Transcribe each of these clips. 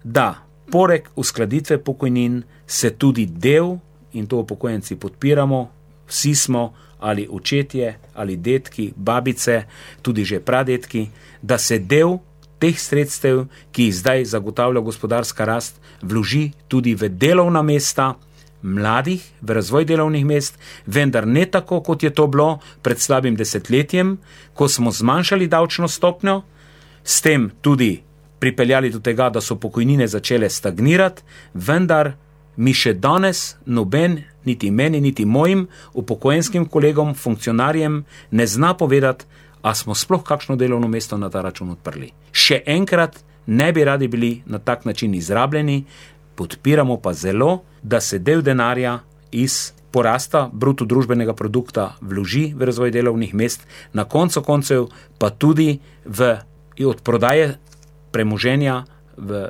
da poleg uskladitve pokojnin se tudi del, in to upokojenci podpiramo, vsi smo ali očetje ali dedki, babice, tudi že pradedki, da se del teh sredstev, ki jih zdaj zagotavlja gospodarska rast, vloži tudi v delovna mesta mladih, v razvoj delovnih mest. Vendar ne tako, kot je to bilo pred slabim desetletjem, ko smo zmanjšali davčno stopnjo, s tem tudi pripeljali do tega, da so pokojnine začele stagnirati, vendar mi še danes noben, niti meni niti mojim upokojenskim kolegom, funkcionarjem, ne zna povedati, a smo sploh kakšno delovno mesto na ta račun odprli. Še enkrat ne bi radi bili na tak način izrabljeni, podpiramo pa zelo, da se del denarja iz porasta bruto družbenega produkta vloži v razvoj delovnih mest. Na koncu koncev pa tudi v odprodaje premoženja v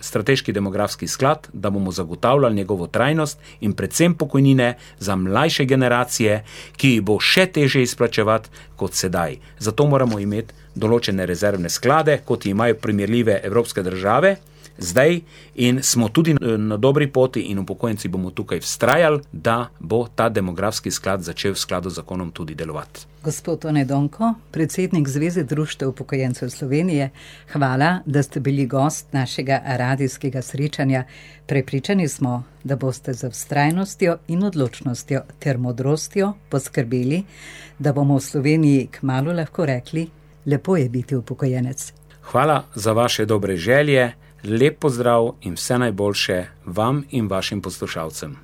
strateški demografski sklad, da bomo zagotavljali njegovo trajnost in predvsem pokojnine za mlajše generacije, ki jih bo še težje izplačevati kot sedaj. Zato moramo imeti določene rezervne sklade, kot imajo primerljive evropske države zdaj, in smo tudi, na dobri poti, in upokojenci bomo tukaj vztrajali, da bo ta demografski sklad začel v skladu z zakonom tudi delovati. Gospod Tone Donko, predsednik Zveze društev upokojencev Slovenije, hvala, da ste bili gost našega radijskega srečanja. Prepričani smo, da boste z vztrajnostjo in odločnostjo ter modrostjo poskrbeli, da bomo v Sloveniji kmalu lahko rekli: "Lepo je biti upokojenec." Hvala za vaše dobre želje. Lep pozdrav in vse najboljše vam in vašim poslušalcem.